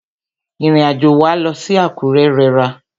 Ìrìn àjò wa lọ sí Àkúrẹ́ rẹra.